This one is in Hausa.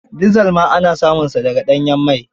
Dizal ma ana samunsa da ga ɗanyen mai.